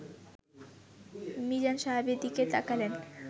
মিজান সাহেবের দিকে তাকালেন